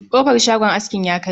Kofar shagon askin ya karye